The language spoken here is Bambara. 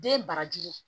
Den barajuru